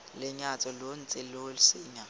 lenyatso lo ntse lo senya